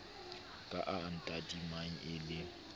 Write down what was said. ka a tadimang e le